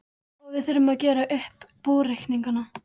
Og við þurfum að gera upp búreikningana!